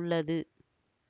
உள்ளது